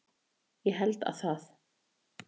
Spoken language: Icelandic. Ég held að það